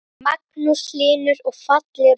Magnús Hlynur: Og fallegur fiskur?